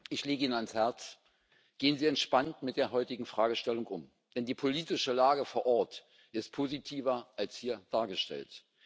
Ich lege Ihnen ans Herz Gehen Sie entspannt mit der heutigen Fragestellung um, denn die politische Lage vor Ort ist positiver als hier dargestellt.